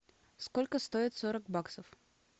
сколько стоит сорок баксов